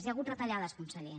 hi ha hagut retallades conseller